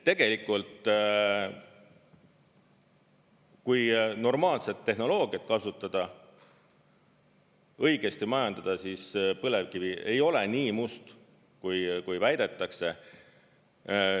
Tegelikult, kui normaalset tehnoloogiat kasutada, õigesti majandada, siis põlevkivi ei ole nii must, kui väidetakse.